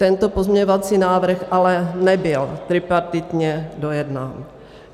Tento pozměňovací návrh ale nebyl tripartitně dojednán.